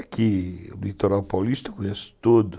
Aqui, o litoral paulista, eu conheço todo.